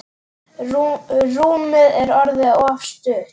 Rúmið er orðið of stutt.